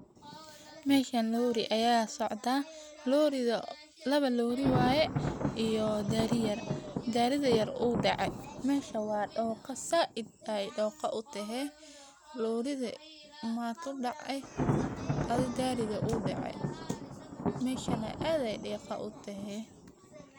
Meshan lori ayaa socdaah. Lawa lori waye iyo gari yar, gariga yar uuu dece, mesha wa doqa said ay doqa u tahe, loriga ma kudacay, adi gariga uu dece, meshana ad ay diqa u tehe.